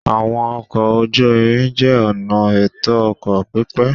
Àwọn ọkọ̀ ojú-irin jẹ́ ọ̀nà ètò ọkọ̀ pípé